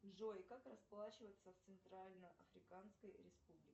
джой как расплачиваться в центральной африканской республике